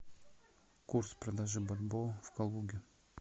курс продажи бальбоа в калуге